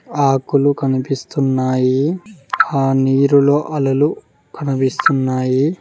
ఆకులు కనిపిస్తున్నాయి ఆ నీరులు అలలు కనిపిస్తున్నాయి.